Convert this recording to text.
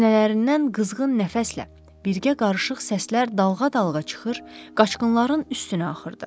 Sinələrindən qızğın nəfəslə, birgə qarışıq səslər dalğa-dalğa çıxır, qaçqınların üstünə axırdı.